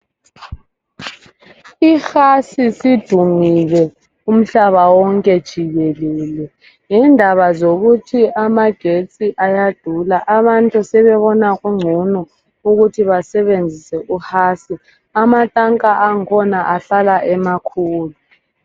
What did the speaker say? Ihasi isidumile umhlaba wonke jikelele ngendaba yokuthi amagetsi ayadula Abantu sebebona ukuthi kungcono basebenzisa uhasi. Amatanka akhona ahlala emakhulu.